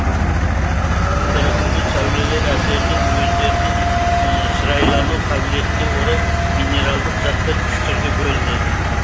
ультракүлгін сәулелер әсерінен өздерінің шырайлану қабілетіне орай минералдық заттар үш түрге бөлінеді